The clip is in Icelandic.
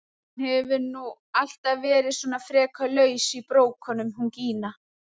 Hún hefur nú alltaf verið svona frekar laus í brókunum hún Gína!